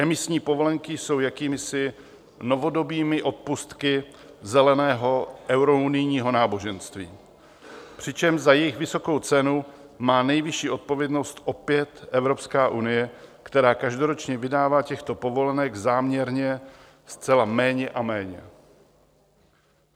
Emisní povolenky jsou jakýmisi novodobými odpustky zeleného eurounijního náboženství, přičemž za jejich vysokou cenu má nejvyšší odpovědnost opět Evropská unie, která každoročně vydává těchto povolenek záměrně zcela méně a méně.